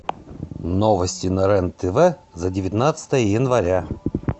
новости на рен тв за девятнадцатое января